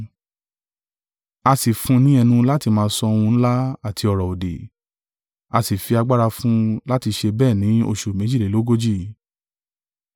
A sì fún un ni ẹnu láti má sọ ohun ńlá àti ọ̀rọ̀-òdì, a sì fi agbára fún un láti ṣe bẹ́ẹ̀ ni oṣù méjìlélógójì.